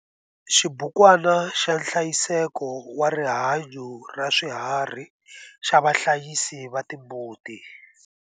Xibukwana xa nhlayiseko wa rihanyo ra swiharhi xa vahlayisi va timbuti.